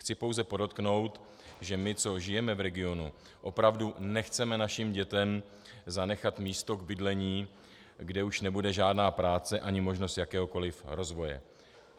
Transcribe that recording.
Chci pouze podotknout, že my, co žijeme v regionu, opravdu nechceme našim dětem zanechat místo k bydlení, kde už nebude žádná práce ani možnost jakéhokoliv rozvoje.